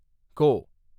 கோ